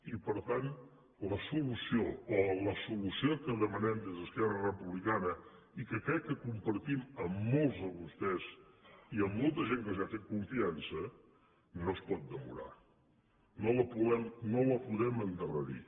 i per tant la solució o la solució que demanem des d’esquerra republicana i que crec que compartim amb molts de vostès i amb molta gent que els ha fet confiança no es pot demorar no la podem endarrerir